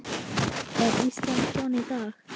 Er Ísland svona í dag?